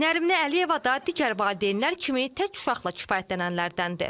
Nərminə Əliyeva da digər valideynlər kimi tək uşaqla kifayətlənənlərdəndir.